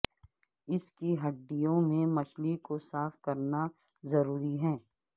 اس کی ہڈیوں سے مچھلی کو صاف کرنا ضروری ہے